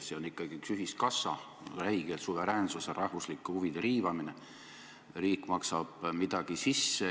Juhin tähelepanu, et me juba oleme NIB-ist sellel aastal laenu võtnud, 750 miljonit.